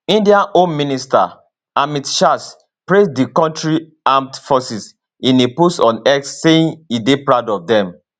indian home minister amit shah praise di kontri country armed forces in a post on x saying e dey proud of dem